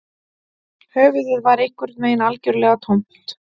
Höfuðið var einhvern veginn algjörlega tómt